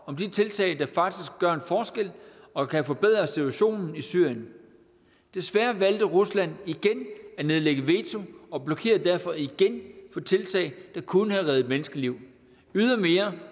om de tiltag der faktisk gør en forskel og kan forbedre situationen i syrien desværre valgte rusland igen at nedlægge veto og blokerede derfor igen for tiltag der kunne have reddet menneskeliv ydermere